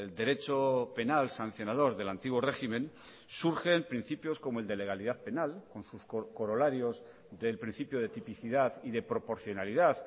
derecho penal sancionador del antiguo régimen surgen principios como el de legalidad penal con sus corolarios del principio de tipicidad y de proporcionalidad